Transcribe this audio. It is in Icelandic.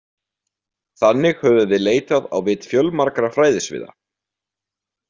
Þannig höfum við leitað á vit fjölmargra fræðasviða.